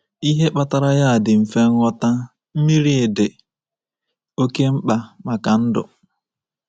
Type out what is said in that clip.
Ihe kpatara ya dị mfe nghọta: Mmiri dị oké mkpa maka ndụ.